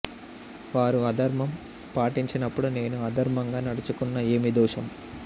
వారు అధర్మం పాటించినపుడు నేను అధర్మంగా నడచుకున్న ఏమి దోషం